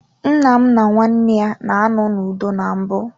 Nnam na nwanne ya na anọ n'udo na mbụ.